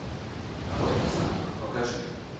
рот на замок покажи